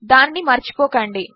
దానినిమరచిపోకండి